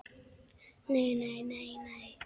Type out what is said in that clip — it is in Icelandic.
Nei, nei, nei, nei.